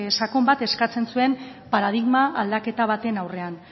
sakon bat eskatzen zuen paradigma aldaketa baten aurrean